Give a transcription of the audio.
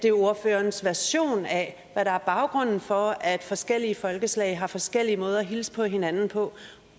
er ordførerens version af hvad der er baggrunden for at forskellige folkeslag har forskellige måder at hilse på hinanden på